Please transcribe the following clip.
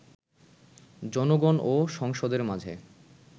জনগণ ও সংসদের মাঝে